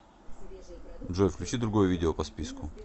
джой включи другое видео по списку